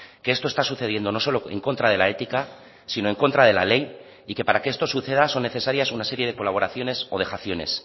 que esto está sucediendo no solo en contra de la ética sino en contra de la ley y que para que esto suceda son necesarias una serie de colaboraciones o dejaciones